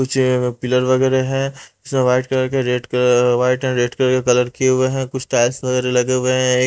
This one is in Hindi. कुछ यहाँ पर पिलर वगैरह है सब वाइट कलर के रेड क अअ वाइट एंड रेड कलर किए हुए हैं कुछ टाइल्स वगैरह लगे हुए हैं एक --